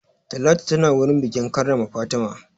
Talatu tana wurin bikin karrama Fatima.